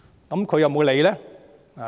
"但他有沒有理會呢？